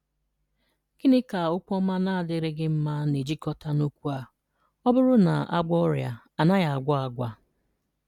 Gịnị ka okwu ọma na-adịrịghi mma na-ejikọta na okwu a: “Ọ bụrụ na a gwọọ ọrịa, a naghi agwọ agwa”?